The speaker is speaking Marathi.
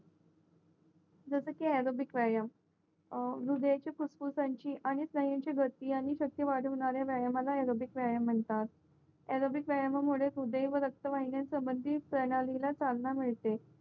जसकी अरोगी व्यायाम हृदयाची फुफुसांची आणि स्नायूयांची गती आणि रक्त वाढवणाऱ्या व्यायामाना अरोगिक वयमामुळे रक्तवाहिन्यान संबंधित साधना मिळते